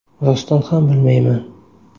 Rostdan ham bilmayman.